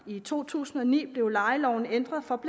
i to tusind og ni blev lejeloven ændret for